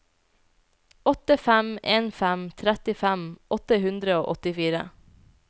åtte fem en fem trettifem åtte hundre og åttifire